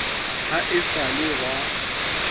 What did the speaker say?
ha e sa le wa